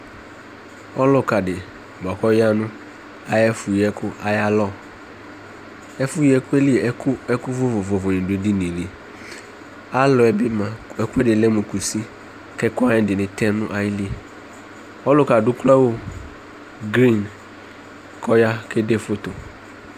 ɔloka di boa ko ɔyavo no ayɛfo yi ɛko alɔ ɛfo yi ɛko li ɛko vovovo ni do ɛdinie li alɔɛ bi moa ɛko di lɛ mo kusi ko ɛko wa ɛdini tɛ no ayili ɔloka ado uklo awu grin ko ɔya kede foto